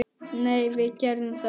Nei, við gerðum það ekki.